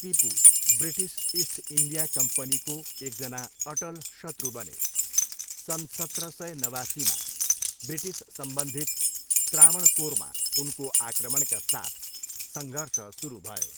Tipu British East India कम्पनीको एकजना अटल शत्रु बने, सन् सत्र सय नवासीमा ब्रिटिस सम्बन्धित त्रावणकोरमा उनको आक्रमणका साथ सङ्घर्ष सुरु भयो।